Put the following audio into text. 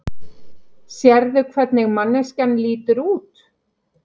Sérðu hvernig manneskjan lítur út?